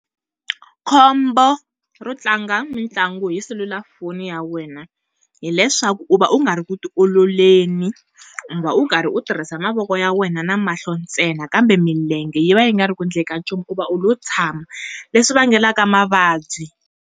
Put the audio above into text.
Khombo ro tlanga mitlangu hi cellular phone ya wena hileswaku u va u nga ri ku ti ololeni u va u karhi u tirhisa mavoko ya wena na mahlo ntsena, kambe milenge yi va yi nga ri ku endleni ka nchumu hikuva u lo tshama leswi vangelaka mavabyi.